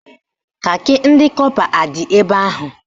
Kakị ndị kọpa adị ebe ahụ?